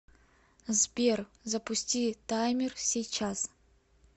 сбер запусти таймер сейчас